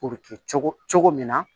O bɛ kɛ cogo cogo cogo min na